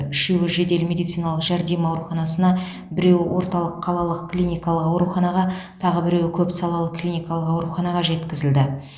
үшеуі жедел медициналық жәрдем ауруханасына біреуі орталық қалалық клиникалық ауруханаға тағы біреуі көпсалалы клиникалық ауруханаға жеткізілді